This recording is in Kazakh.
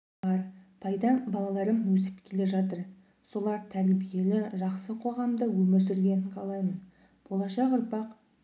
бар пайдам балаларым өсіп келе жатыр солар тәрбиелі жақсы қоғамда өмір сүргенін қалаймын болашақ ұрпақ